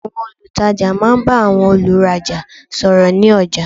Àwọn olùtajà máa n bá àwọn olùrajà sò ọ̀rọ̀ ní ọjà